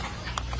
Mənə baxın.